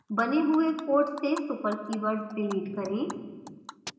बने हुए code से super कीवर्ड डिलीट करें